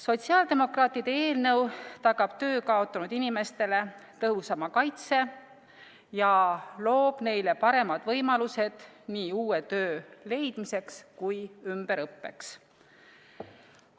Sotsiaaldemokraatide eelnõu tagab töö kaotanud inimestele tõhusama kaitse ja loob neile paremad võimalused nii uue töö leidmiseks kui ka ümberõppeks.